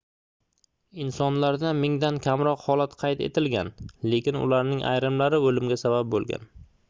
insonlarda mingdan kamroq holat qayd etilgan lekin ularning ayrimlari oʻlimga sabab boʻlgan